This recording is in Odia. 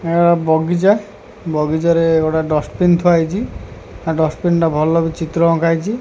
ଆ ବଗିଚା ବଗିଚାରେ ଗୋଟେ ଡଷ୍ଟବିନ୍ ଥୁଆହେଇଛି ଆ ଡଷ୍ଟବିନ୍ ଟା ଭଲକି ଚିତ୍ର ଅଙ୍କା ହେଇଛି।